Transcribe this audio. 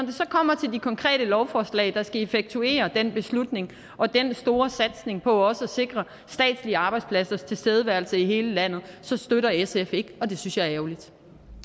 det så kommer til de konkrete lovforslag der skal effektuere den beslutning og den store satsning på også at sikre statslige arbejdspladsers tilstedeværelse i hele landet så støtter sf ikke og det synes jeg er ærgerligt